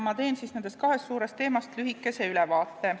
Ma teen nendest lühikese ülevaate.